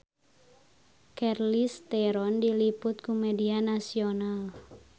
Charlize Theron diliput ku media nasional